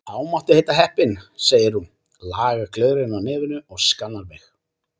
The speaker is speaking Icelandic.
Þá máttu heita heppin, segir hún, lagar gleraugun á nefinu og skannar mig.